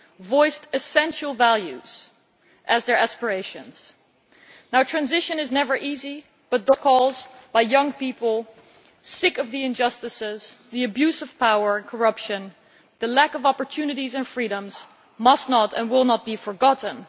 voiced essential values as their aspirations. Transition is never easy but those calls by young people sick of the injustices, the abuse of power and corruption, and the lack of opportunities and freedoms must not and will not be forgotten.